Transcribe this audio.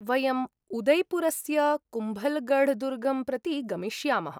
वयम् उदैपुरस्य कुम्भल्गढ्दुर्गं प्रति गमिष्यामः।